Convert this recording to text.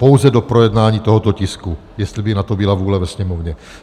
Pouze do projednání tohoto tisku, jestli by na to byla vůle ve Sněmovně.